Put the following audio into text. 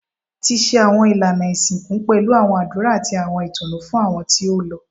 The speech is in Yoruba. Ti ṣe awọn ilana isinku pẹlu awọn adura ati awọn itunu fun awọn ti o lọ